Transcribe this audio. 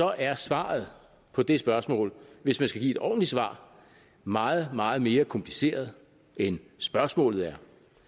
er svaret på det spørgsmål hvis man skal give et ordentligt svar meget meget mere kompliceret end spørgsmålet er